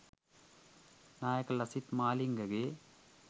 නායක ලසිත් මාලිංගගේ